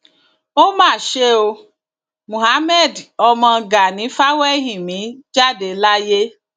ó mà ṣe o mohammed ọmọ gani fawéhínmí jáde láyé